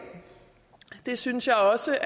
det synes jeg også